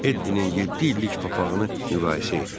Eddin'in yeddi illik papağını müqayisə etdi.